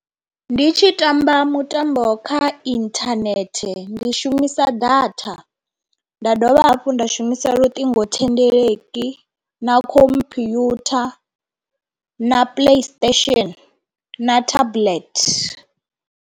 Ndi tshi tamba mutambo kha inthanethe ndi shumisa data nda dovha hafhu nda shumisa luṱingo thendeleki na computer na placestation na tablet.